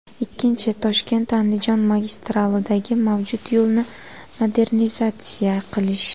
Ikkinchi, ToshkentAndijon magistralidagi mavjud yo‘lni modernizatsiya qilish.